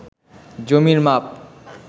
জমির মাপ